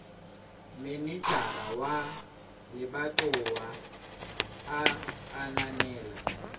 manejara wa lebatowa a ananela